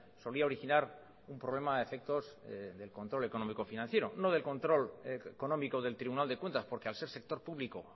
solía originar un problema a efectos del control económico financiero no del control económico del tribunal de cuentas porque al ser sector público